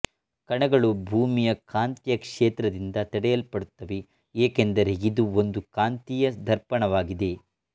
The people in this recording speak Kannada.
ಕಣಗಳು ಭೂಮಿಯ ಕಾಂತೀಯ ಕ್ಷೇತ್ರದಿಂದ ತಡೆಯಲ್ಪಡುತ್ತವೆ ಏಕೆಂದರೆ ಇದು ಒಂದು ಕಾಂತೀಯ ದರ್ಪಣವಾಗಿದೆ